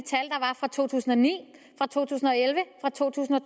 to tusind og ni to tusind og elleve og to tusind og